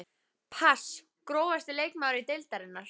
pass Grófasti leikmaður deildarinnar?